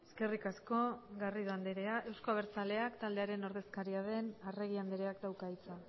eskerrik asko garrido andrea euzko abertzaleak taldearen ordezkaria den arregi andreak dauka hitza